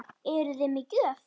Eruði með gjöf?